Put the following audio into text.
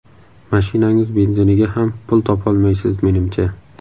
Mashinangiz benziniga ham pul topolmaysiz menimcha.